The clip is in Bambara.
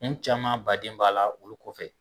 Kun caman baden b'a la olu kɔfɛ